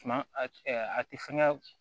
Suma a tɛ fɛn kɛ